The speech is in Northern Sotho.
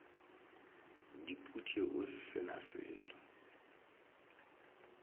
dipute o se na selo